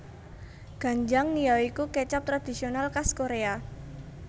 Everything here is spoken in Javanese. Ganjang ya iku kecap tradisional kas Korea